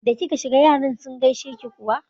Da kika shiga yaran sun gaishe ki kuwa?